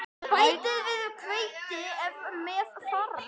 Bætið við hveiti ef með þarf.